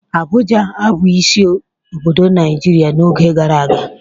Abụja abụghị isi obodo Naịjirịa n'oge gara aga.